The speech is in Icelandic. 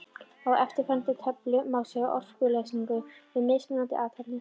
Á eftirfarandi töflu má sjá orkuneysluna við mismunandi athafnir.